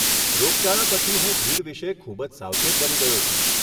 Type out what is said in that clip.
રોગચાળા પછી હું ભીડ વિશે ખૂબ જ સાવચેત બની ગયો છું.